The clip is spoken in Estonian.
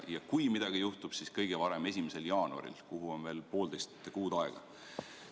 Ja kui midagi juhtub, siis kõige varem 1. jaanuaril, milleni on veel poolteist kuud aega.